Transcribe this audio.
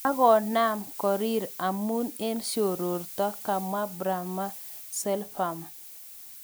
Akonam korir amun eng siororto,"kamwa Prama Selvam.